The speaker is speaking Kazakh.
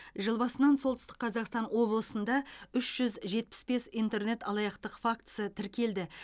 жыл басынан солтүстік қазақстан облысында үш жүз жетпіс бес интернет алаяқтық фактісі тіркелді